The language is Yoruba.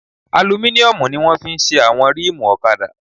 Alumíníọ̀mù ni wọ́n fi ṣe àwọn rímùù ọ̀kadà